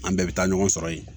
An bɛɛ bɛ taa ɲɔgɔn sɔrɔ yen